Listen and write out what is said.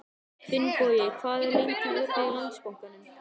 Finnbogi, hvað er lengi opið í Landsbankanum?